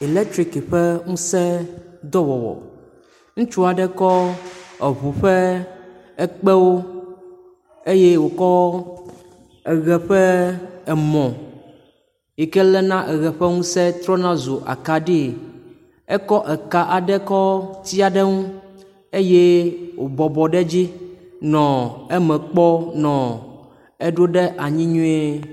eletrik ƒe ŋuse dɔwɔwɔ , ŋutsuaɖe kɔ eʋu ƒe ekpewo eye wòkɔ eɣe ƒe emɔ yike lena eɣe ƒe ŋuse trɔna zu akaɖie, ekɔ eka aɖe kɔ tiaɖeŋu eye wò bɔbɔ ɖe dzi nɔ eme kpɔm nɔ eɖó ɖe anyi nyuie